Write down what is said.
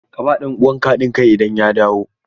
Ka ba ɗan uwanka haɗin kai idan ya dawo!